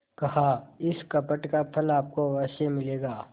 कहाइस कपट का फल आपको अवश्य मिलेगा